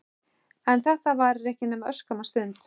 En þetta varir ekki nema örskamma stund.